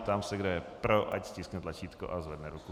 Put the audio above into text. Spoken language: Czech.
Ptám se, kdo je pro, ať stiskne tlačítko a zvedne ruku.